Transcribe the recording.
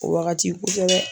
O wagati kosɛbɛ